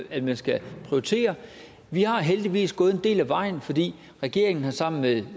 vi man skal prioritere vi har heldigvis gået en del af vejen fordi regeringen sammen med